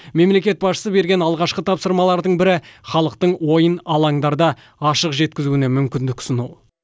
мемлекет басшысы берген алғашқы тапсырмалардың бірі халықтың ойын алаңдарда ашық жеткізуіне мүмкіндік ұсыну